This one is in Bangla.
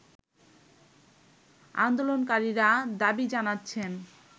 আন্দোলনকারীরা দাবি জানাচ্ছেন